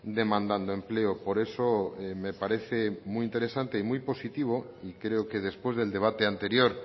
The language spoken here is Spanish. demandando empleo por eso me parece muy interesante y muy positivo y creo que después del debate anterior